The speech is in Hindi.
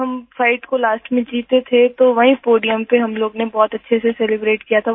जब हम फाइट को लास्ट में जीते थे तो वही पोडियम पे हम लोगों ने बहुत अच्छे से सेलिब्रेट किया था